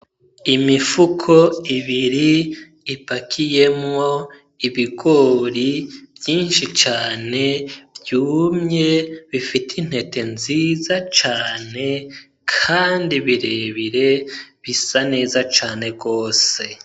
Imifuko ibiri ipakiyemwo ibigori vyishi cane vyumye bifise intete nziza cane kandi birebire bisa neza cane gose.